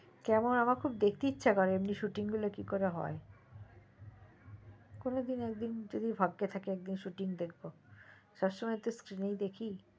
কেমন আমার খুব দেখতে ইস্সা করে যে shoothing গুলো কেমন করে হয় সব কোনোদিন যদি ভাগ্যে থাকে একদিন shoothing দেখবো সব সময় তো skin দেখি